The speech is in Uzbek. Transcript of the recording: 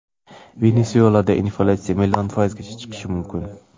Venesuelada inflyatsiya million foizga chiqishi mumkin.